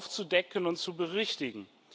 aufzudecken und zu berichtigen.